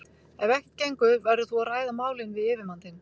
Ef ekkert gengur verður þú að ræða málin við yfirmann þinn.